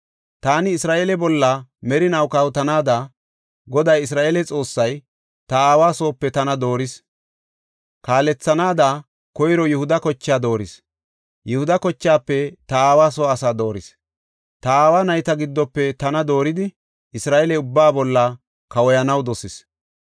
Taani Isra7eele bolla merinaw kawotanaada, Goday Isra7eele Xoossay ta aawa soope tana dooris. Kaalethanaada koyro Yihuda kochaa dooris; Yihuda kochaafe ta aawa soo asaa dooris; ta aawa nayta giddofe tana dooridi Isra7eele ubbaa bolla kawoyanaw dosis.